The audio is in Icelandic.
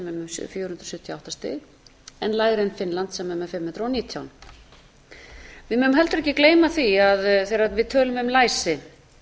hundruð sjötíu og átta stig en lægri en finnland sem er með fimm hundruð og nítján við megum heldur ekki gleyma því að þegar við tölum um læsi